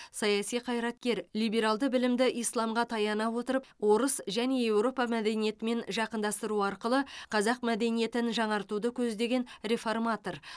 саяси қайраткер либералды білімді исламға таяна отырып орыс және еуропа мәдениетімен жақындасу арқылы қазақ мәдениетін жаңартуды көздеген реформатор